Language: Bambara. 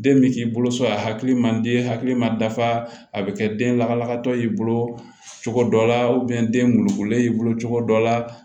Den bɛ k'i bolo so a hakili man di hakili ma dafa a bɛ kɛ den lakanabagatɔ y'i bolo cogo dɔ la den bololen y'i bolo cogo dɔ la